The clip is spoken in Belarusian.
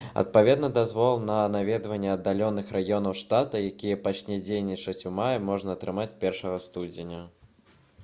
адпаведна дазвол на наведванне аддаленых раёнаў штата які пачне дзейнічаць у маі можна атрымаць 1 студзеня